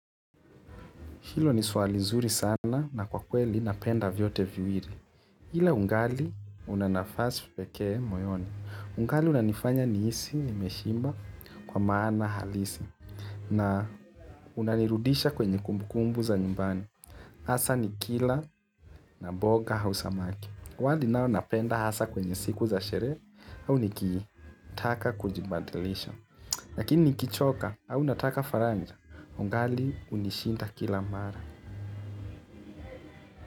Hilo ni swali zuri sana na kwa kweli napenda vyote viwili ila ungali una nafasi pekee moyoni ungali unanifanya nihisi nimeshimba kwa maana halisi na unanirudisha kwenye kumbukumbu za nyumbani hasa nikila na mboga au samaki wali nao napenda hasa kwenye siku za sherehe au nikitaka kujibadilisha lakini nikichoka au nataka faranja ungali unishinda kila mara.